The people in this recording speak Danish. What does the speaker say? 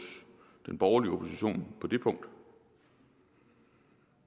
den borgerlige opposition på det punkt